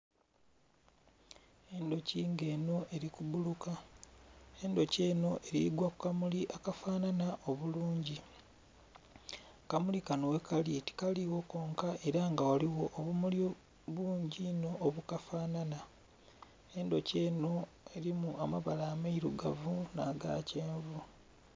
Endhoki nga enho eri ku bbuluka, endhoki enho erigwa ku kamuli akafanana obulungi akamuli kanho ghe kali tikaligho konka era nga ghaligho obumuli bungi inho obukafanana endhoki enho erimu amabala ameirugavu nha ga kyenvu.